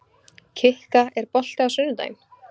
Kikka, er bolti á sunnudaginn?